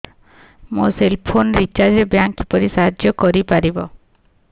ମୋ cell phone recharge ରେ bank କିପରି ସାହାଯ୍ୟ କରିପାରିବ